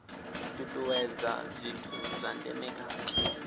tutuwedza zwithu zwa ndeme kha